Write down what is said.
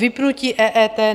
Vypnutí EET.